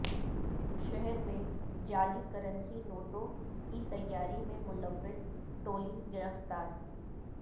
شہر میں جعلی کرنسی نوٹوں کی تیاری میں ملوث ٹولی گرفتار